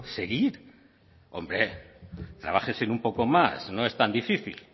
seguir hombre trabájense un poco más no es tan difícil